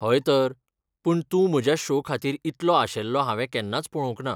हय तर, पूण तूं म्हज्या शो खातीर इतलो आशेल्लो हांवें केन्नाच पळोवंक ना!